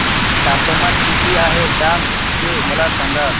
तापमान किती आहे डांग चे मला सांगा